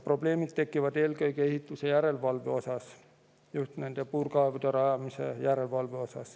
Probleemid tekivad aga eelkõige ehituse järelevalvega, just puurkaevude rajamise järelevalvega.